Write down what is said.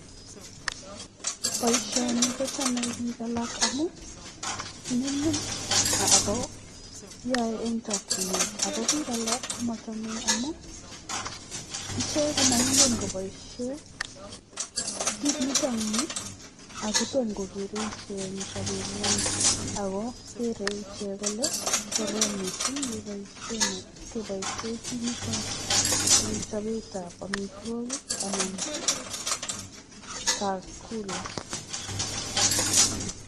Boisioni kochame biik alak amun nyumnyum ago yoe ne chokinet. Ago biik alak komoche amun ichek komoingen koboisien kit neton ni ago tom kogeere ichek en sobenywan. Ago keree ichek kole korom missing keboishen kit inito en chobet ab amitwogik anan chakula.